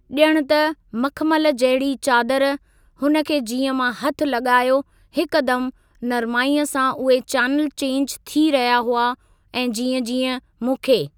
ॼण त मखमल जहिड़ी चादर, हुन खे जीअं मां हथ लॻायो हिकु दम नरमाई सां उहे चैनल चैंज थी रहियां हुआ ऐं जीअं जीअं मूंखे।